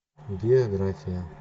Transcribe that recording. география